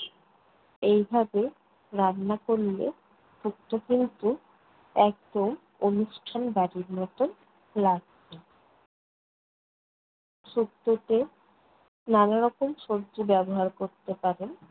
এইভাবে রান্না করলে শুক্তো কিন্তু একদম অনুষ্ঠান বাড়ির মতন লাগবে। শুক্তোতে নানা রকম সবজি ব্যবহার করতে পারেন